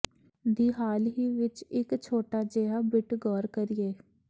ਦੀ ਹਾਲ ਹੀ ਵਿੱਚ ਇੱਕ ਛੋਟਾ ਜਿਹਾ ਬਿੱਟ ਗੌਰ ਕਰੀਏ